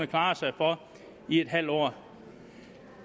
klare sig for i en halv år